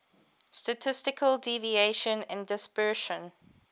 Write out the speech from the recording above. statistical deviation and dispersion